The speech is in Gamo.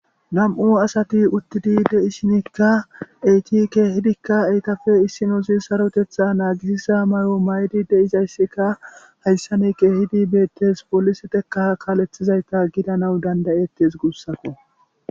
nam7u asati uttidi de'ishinikka eti keehidikka etappe issinozzi sarotetha naagisizza mayo mayidi de'izayssika hayssa ni keehidi beettes poliseteka kaalethizayita gidanawu danda'ettes guussakko.